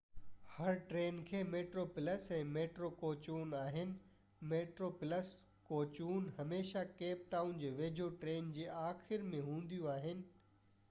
هر train کي metro plus ۽ metro ڪوچون آهن ميٽرو پلس ڪوچون هميشه ڪيپ ٽائون جي ويجهو ٽرين جي آخر ۾ هونديون آهن